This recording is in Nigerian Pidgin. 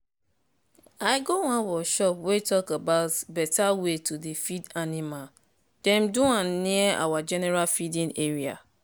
i go one workshop wey talk about better way to dey feed animal dem do am near our general feeding area.